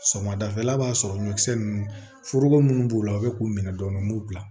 Suman dafɛla b'a sɔrɔ ɲɔkisɛ nunnu foroko munnu b'u la u be k'u minɛ dɔɔnin n b'u bila